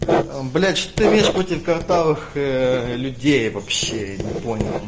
блять что имеешь против картавых людей вообще я не понял